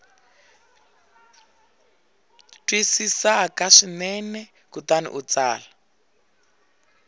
twisisaka swinene kutani u tsala